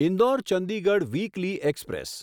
Indore Chandigarh weekly express